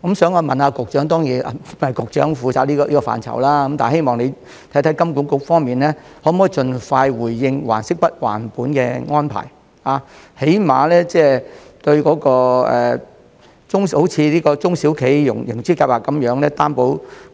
我想問局長......局長當然負責這個範疇，希望局長看看金管局方面可否盡快就還息不還本的安排作出回應，最低限度像中小企融資擔保計